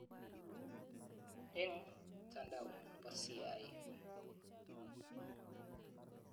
Eng "mtandao nebo CIA"